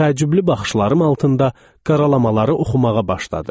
Təəccüblü baxışlarım altında qaralamaları oxumağa başladı.